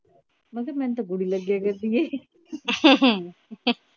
ਮੈ ਕਿਹਾ ਮੈਨੂੰ ਤਾ ਬੁਰੀ ਲਗਿਆ ਕਰਦੀ